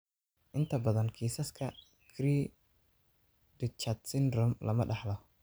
Inta badan kiisaska cri du chat syndrome lama dhaxlo.